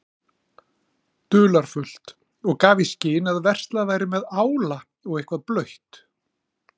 dularfullt og gaf í skyn að verslað væri með ála og eitthvað blautt.